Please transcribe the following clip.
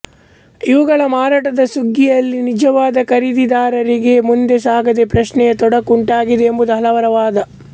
ಇವುಗಳ ಮಾರಾಟದ ಸುಗ್ಗಿಯಲ್ಲಿ ನಿಜವಾದ ಖರೀದಿದಾರರಿಗೆ ಮುಂದೆ ಸಾಗದೆ ಪ್ರಶ್ನೆಯ ತೊಡಕು ಉಂಟಾಗಿದೆ ಎಂಬುದು ಹಲವರ ವಾದ